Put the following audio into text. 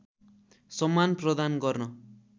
सम्मान प्रदान गर्न